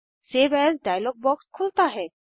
save as dialog box खुलता है